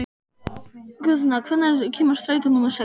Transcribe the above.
Guðna, hvenær kemur strætó númer sex?